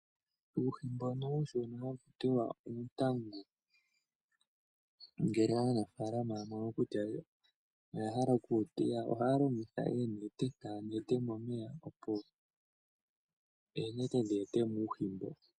Uuhi mbono uushona hakutiwa oontangu ngele aanafaalama ya mono kutya yo oyahala oku wu teya ohaya longitha oonete taya nete momeya opo oonete dhi etemo uuhi mboka .